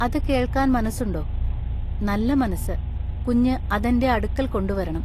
അതുകെൾക്കാൻ മനസ്സുണ്ടൊ “നല്ല മനസ്സു കുഞ്ഞു അതെന്റെ അടുക്കൽകൊണ്ടുവരെണം.